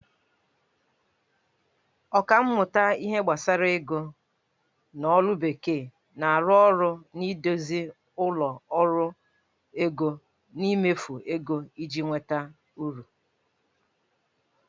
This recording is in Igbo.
Ọkammụta n'ihe gbasara ego. n'olu bekee, na-arụ ọrụ n'ịduzi ụlọ ọrụ ego n'imefu ego iji nweta uru